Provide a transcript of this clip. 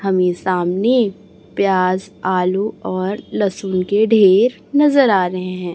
हमें सामने प्याज आलू और लहसुन के ढेर नजर आ रहे हैं।